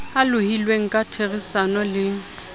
a lohilweng ka therisano le